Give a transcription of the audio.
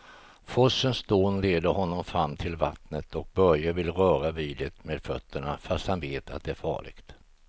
Forsens dån leder honom fram till vattnet och Börje vill röra vid det med fötterna, fast han vet att det är farligt.